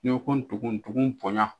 Ni ko dugun dugun boya.